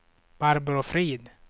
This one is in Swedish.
Barbro Frid